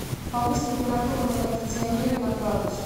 повысь температуру на кондиционере на градус